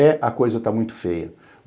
É, a coisa tá muito feia.